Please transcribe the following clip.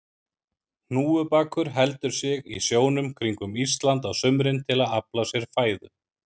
Hnúfubakur heldur sig í sjónum kringum Ísland á sumrin til að afla sér fæðu.